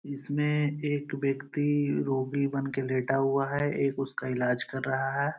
इसमें एक व्यक्ति रोगी बनके लेटा हुआ है | एक उसका इलाज कर रहा है |